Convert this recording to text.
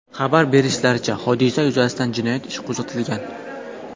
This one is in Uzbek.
Xabar berishlaricha, hodisa yuzasidan jinoyat ishi qo‘zg‘atilgan.